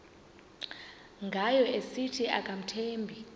ngayo esithi akamthembi